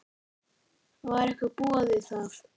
Var ykkur boðið það?